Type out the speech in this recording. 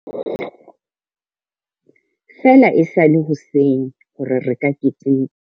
Feela e sa le hoseng hore re ka keteka.